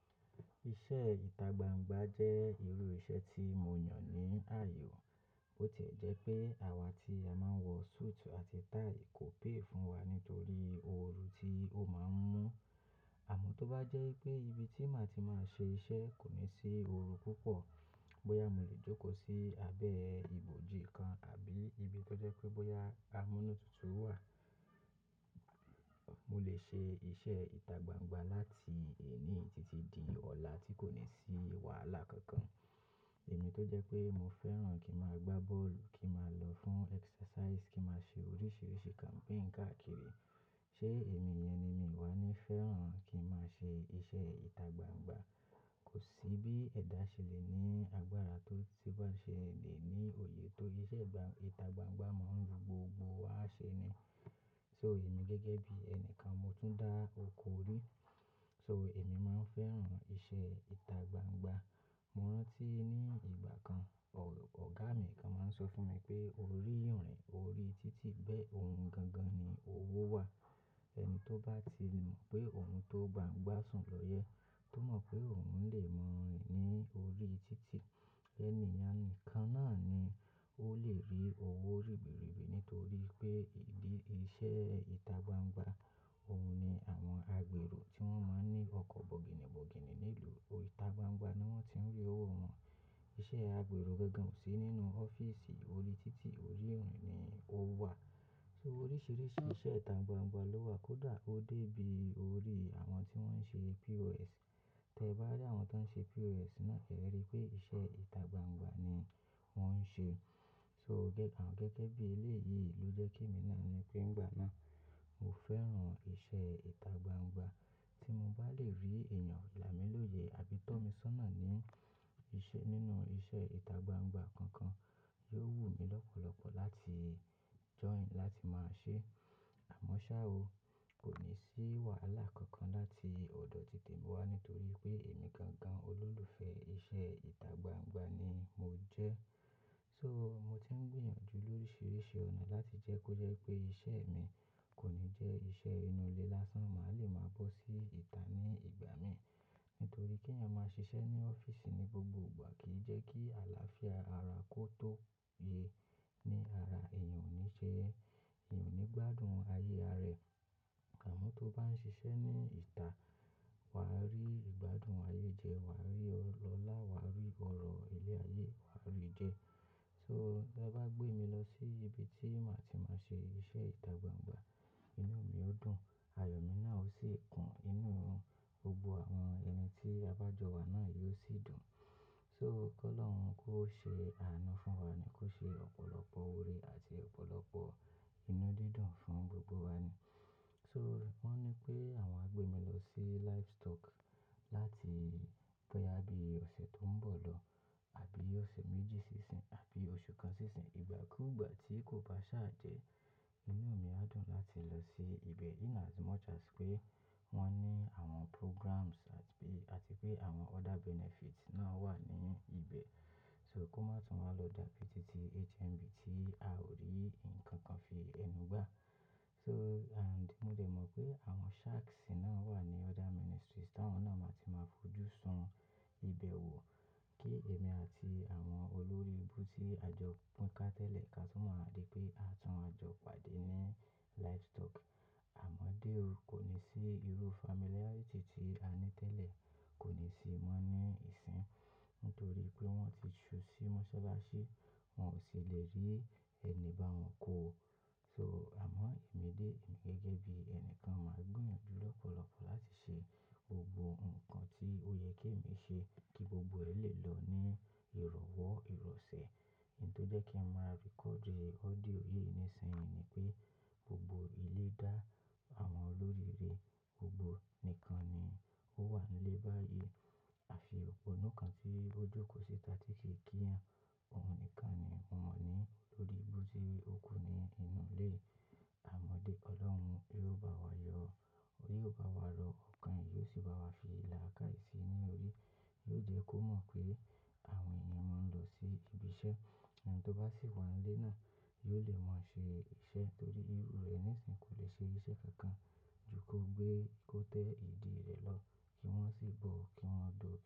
Iṣẹ́ ìtagbangba jẹ́ irú iṣẹ́ tí mo yàn ní àyo. Bo tiẹ́ jẹ́ pé àwa tí a máa ń wọ suit àti tie kò pé fún wa nítorí ooru tí ó máa ń mú. Àmọ́ tó bá jẹ́ pé ibi tí màá ti máa ṣe iṣẹ́ kò ní sí ooru púpọ̀, bóyá mo lè jókòó sí abẹ́ ibòji kan àbí ibi tó jẹ́ pé bóyá amúnútutù wà, mo lè ṣe iṣẹ́ ìtagbangba láti èní títí di ọ̀la tí kò ní sí wàhálà kankan. Èmi tó jẹ́ pé mo fẹ́ràn kí máa gbá bọ́ọ̀lù, kí máa lọ fún exercise, kí máa ṣe oríṣìíríṣìí campaign káàkiri. Ṣé èmi yẹn ni mi wá ní fẹ́ràn kí máa ṣe iṣẹ́ ìtagbangba? Kò sí bí ẹ̀dá ṣe lè ní agbára tó ti bo ṣe lè ní òye tó iṣẹ́ ìtagbangba máa ń wu gbogbo wàṣẹ ni. So èmi gẹ́gẹ́ bí ẹni kan mo tún dá oko rí. So èmi máa ń fẹ́ràn iṣẹ́ ìtagbangba. Mo rántí ní ìgbà kan, ọ̀gá mi kan máa ń sọ fún mi pé orí ìrin, orí títì bẹ́ òun gan gan ni owó wà. Ẹni tó bá ti mọ̀ pé òun tó gbàǹgbá sùn lọ́yẹ́, tó mọ̀ pé òun lè mọ̀ rin ní orí títì. Ẹ̀níyàn n nìkan náà ni ó lè rí owó ribiribi nítorí pé ìdí iṣẹ́ ìtagbangba, òun ni àwọn agbèrò tí wọ́n máa ń ní ọkọ̀ bọ̀gìnìbọ̀gìnì nílùú, ìtagbangba ni wọ́n ti ń rí owó wọn. Iṣẹ́ agbèrò gangan ò sí nínú ọ́fíísì orí títì, orí irin ni o wà. So oríṣìíríṣìí iṣẹ́ ìtagbangba ló wà, kódà ó dé bí orí àwọn tí wọ́n ń ṣe POS. Tẹ bá rí àwọn tó ń ṣe POS náà, ẹ rí pé iṣẹ́ ìtagbangba ni wọ́n ń ṣe. So à gẹ́gẹ́ bí eléyìí ló jẹ́ kí èmi náà ni pé ìgbà náà, mo fẹ́ràn iṣẹ́ ìtagbangba. Tí mo bá lè rí èèyàn la mi lóye àbí tọ́ mi sọ́nà ní iṣẹ́ nínú iṣẹ́ ìtagbangba kankan, yóò wù mí lọ́pọ̀lọ́pọ̀ láti join láti máa ṣe. Àmọ́ ṣá o, kò ní sí wàhálà kankan láti ọ̀dọ̀ títè mi wá nítorí pé èmi gan gan olólùfẹ́ iṣẹ́ ìtagbangba ni mo jẹ́. So mo ti ń gbìyànjú lóríṣìíríṣìí ọ̀nà láti jẹ́ kó jẹ́ wipé iṣẹ́ mi kò ní jẹ́ iṣẹ́ inú ilé lásán, màá lè máa bọ́ sí ìta ní ìgbà mí. Nítorí kẹeyan máa ṣiṣẹ́ ní ọ́fíísì ní gbogbo ìgbà kì í jẹ́ kí àlàáfíà ara kó tó ye ní ara, èèyàn ò ní ṣe, èèyàn ò ní gbádùn ayé ara ẹ̀. Àmọ́ tó bá ń ṣiṣẹ́ ní ìta, wà á rí ìgbádùn ayé jẹ, wà á rí ọlá, wà á rí ọ̀rọ̀ ilé ayé, wà á rí jẹ. So te bá gbé mi lọ sí ibi tí màá ti máa ṣe iṣẹ́ ìtagbangba, inú mi ó dùn, àyò mi náà ó sì kùn, inú gbogbo àwọn ẹni tí a bá jọ wà náà yóò sì dùn. So kó lọ̀run kó ṣe àánú fún wa ni, kó ṣe ọ̀pọ̀lọpọ̀ ore àti ọ̀pọ̀lọpọ̀ inú dídùn fún gbogbo wa ni. So wọ́n ní pé àwọn á gbé mi lọ sí livestock láti bóyá bí ọ̀sẹ̀ tó ń bọ̀ lọ àbí ọ̀sẹ̀ méjì sí ìsìn àbí oṣù kan sí ìsìn. Ìgbà kú ìgbà tí kò bá ṣàjẹ́, inú mi á dùn láti lọ sí ibẹ̀ in as much as pé wọ́n ní àwọn programs àti pé, àti pé àwọn other benefits náà wà ní ibẹ̀. So kó má tún wá lọ dàbí títí HMB tí a ò rí nǹkan kan fi ẹnu gbá. So and mo dè mọ̀ pé àwọn sharks náà wà ní other ministries táwọn náà màá ti máa fojú sun ibẹ̀ wò kí èmi àti àwọn olórí ibú tí a jọ pín ká tẹ́lẹ̀ ká tun máa wa dí pé a tún wá jọ pàdé ní livestock. Àmọ́dé o, kò ní sí irú familarity ti a ní tẹ́lẹ̀, kò ní sí mọ́ ní ìsìn. Nítorí pé wọ́n ti ju sí Mọ́sálásí, wọ́n ò sì lè rí ẹni bá wọn kó o. So àmọ́ èmi dé, èmi gẹ́gẹ́ bí ẹni kan màá gbìyànjú lọ́pọ̀lọ́pọ̀ láti ṣe gbogbo nǹkan tí ó yẹ kí èmi ṣe kí gbogbo ẹ́ lè lọ ní ìrọ̀wọ́ ìrọ̀sẹ̀. Ǹtó jẹ́ kí n máa record audio yìí nísinsìnyí ni pé gbogbo ilé dá àwọn olórí rè gbogbo nìkan ni ó wà nílé báyìí. Àfi òpónu kan tí ó jókòó síta tí kì i ki yàn, òun nìkan ni mo mọ̀ ní olórí ibú tí ó kù ní inú ilé yi. Àmọ́dé Ọlọ́run yóò bá wa yọ, ori yoo bá wa rọ́ ọkàn, e yóò sì bá wa fi ìlà kái si ni orí. Yóò jẹ́ kó mọ̀ pé àwọn èèyàn máa ń lọ sí ibi iṣẹ́. Ẹni tó bá sì wà nílé náà yóò lè máa ṣe iṣẹ́ torí irú rẹ̀ nísinyí kò lè ṣe iṣẹ́ kankan ju kó gbé kótẹ́ ìdí rẹ̀ lọ kí wọ́n sì bọ̀ kí wọ́n do.